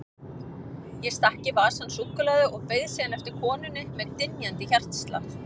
Ég stakk í vasann súkkulaði og beið síðan eftir konunni með dynjandi hjartslátt.